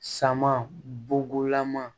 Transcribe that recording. Sama bogugulama